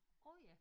Orh ja